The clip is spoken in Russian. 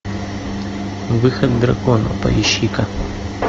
выход дракона поищи ка